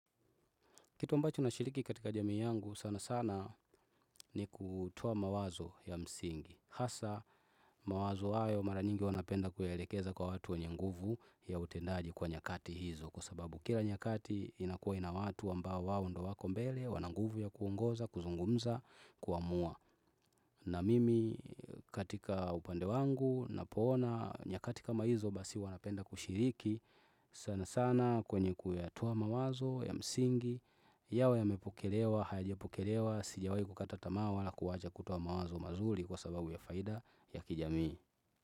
Kitu ambacho nashiriki katika jamii yangu sana sana ni kutoa mawazo ya msingi. Hasa mawazo hayo mara nyingi huwa napenda kuyaelekeza kwa watu wenye nguvu ya utendaji kwa nyakati hizo. Kwa sababu kila nyakati inakuwa ina watu ambao wao ndo wako mbele wana nguvu ya kuongoza, kuzungumza, kuamua. Na mimi katika upande wangu napoona nyakati kama hizo basi huwa napenda kushiriki. Sana sana kwenye kuyatoa mawazo ya msingi yawe yamepokelewa, hayajapokelewa Sijawai kukata tamaa wala kuacha kutoa mawazo mazuli Kwa sababu ya faida ya kijamii.